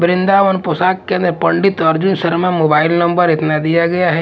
वृंदावन पोशाक केंद्र Pandit Arjun Sharma mobile number इतना दिया गया है।